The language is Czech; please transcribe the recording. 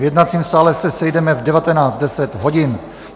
V jednacím sále se sejdeme v 19.10 hodin.